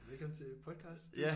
Velkommen til podcast